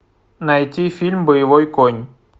найти фильм боевой конь